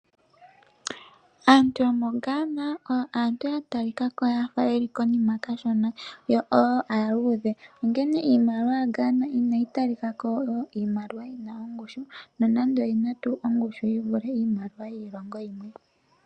Aantu yomo Gaana oyo aantu yatalikako yafa yeli konima kashona yo woo aaluudhe onkene iimaliwa yaGaana inayi talikako oyo iimaliwa yina ongushu nonando oyina tuu ongushu yivulithe yiilongo yimwe.